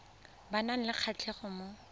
ba nang le kgatlhego mo